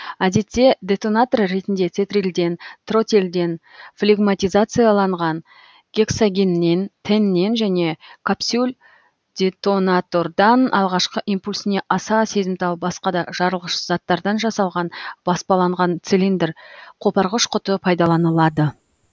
әдетте детонатор ретінде тетрилден тротилден флегматизацияланған гексогеннен тэннен және капсюль детонатордан алғашкы импульсіне аса сезімтал басқа да жарылғыш заттардан жасалған баспаланған цилиндр қопарғыш құты пайдаланылады